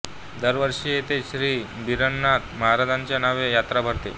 दरवर्षी येथे श्री बिरबलनाथ महाराजांच्या नावे यात्रा भरते